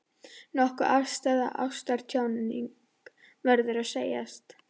Nokkuð afstæð ástarjátning, verður að segjast.